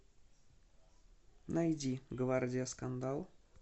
найди гвардия скандал